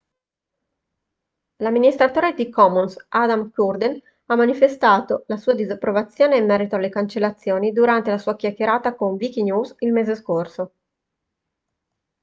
l'amministratore di commons adam cuerden ha manifestato la sua disapprovazione in merito alle cancellazioni durante la sua chiacchierata con wikinews il mese scorso